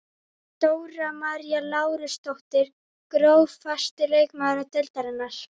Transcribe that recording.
Dóra María Lárusdóttir Grófasti leikmaður deildarinnar?